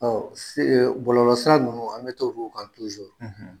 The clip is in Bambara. Bɔlɔsira ninnu an bɛ t'olu kan